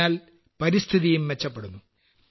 ഇതിനാൽ പരിസ്ഥിതിയും മെച്ചപ്പെടുന്നു